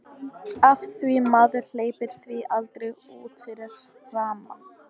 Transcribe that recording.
Af því maður hleypir því aldrei út fyrir rammann.